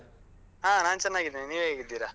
ಆ ನಾನ್ ಚೆನ್ನಾಗಿದ್ದೇನೆ. ನೀವ್ ಹೇಗಿದ್ದೀರಾ?